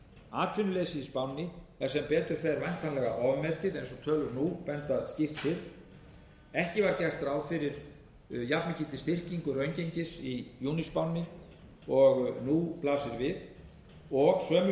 atvinnuleysið í spánni er sem betur fer væntanlega ofmetið eins og tölur nú benda skýrt til ekki var gert ráð fyrir jafnmikilli styrkingu raungengis í júníspánni og nú blasir við og sömuleiðis virðist